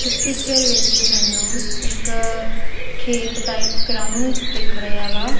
ਇਸ ਪਿੱਚਰ ਵਿੱਚ ਮੈਨੂੰ ਇੱਕ ਖੇਤ ਟਾਈਪ ਗਰਾਊਂਡ ਦਿੱਖ ਰਿਹਾ ਵਾ।